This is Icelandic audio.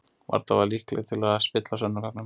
Varla var ég líkleg til að spilla sönnunargögnum.